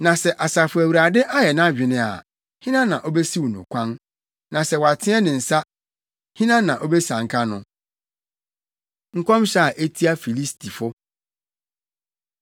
Na sɛ Asafo Awurade ayɛ nʼadwene a hena na obesiw no kwan? Na sɛ wateɛ ne nsa, hena na obesianka no? Nkɔmhyɛ A Etia Filistifo